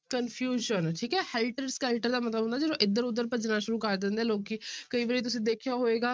Confusion ਠੀਕ ਹੈ helter-skelter ਦਾ ਮਤਲਬ ਹੁੰਦਾ ਜਦੋਂ ਇੱਧਰ ਉਧਰ ਭੱਜਣਾ ਸ਼ੁਰੂ ਕਰ ਦਿੰਦੇ ਹੈ ਲੋਕੀ ਕਈ ਵਾਰੀ ਤੁਸੀਂ ਦੇਖਿਆ ਹੋਏਗਾ